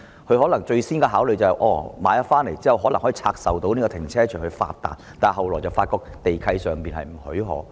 他們在購買商場後，可能最先是考慮拆售停車場以致富，但後來卻發覺地契不許可。